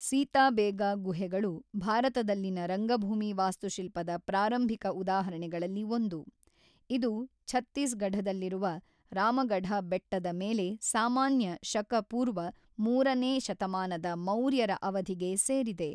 ಸೀತಾಬೇಗ ಗುಹೆಗಳು ಭಾರತದಲ್ಲಿನ ರಂಗಭೂಮಿ ವಾಸ್ತುಶಿಲ್ಪದ ಪ್ರಾರಂಭಿಕ ಉದಾಹರಣೆಗಳಲ್ಲಿ ಒಂದು, ಇದು ಛತ್ತೀಸ್‌ಗಢದಲ್ಲಿರುವ ರಾಮಗಢ ಬೆಟ್ಟದ ಮೇಲೆ ಸಾಮಾನ್ಯ ಶಕ ಪೂರ್ವ ಮೂರನೇ ಶತಮಾನದ ಮೌರ್ಯರ ಅವಧಿಗೆ ಸೇರಿದೆ.